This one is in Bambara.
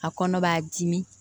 A kɔnɔ b'a dimi